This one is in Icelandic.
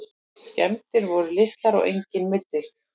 Skemmdir voru litlar og enginn meiddist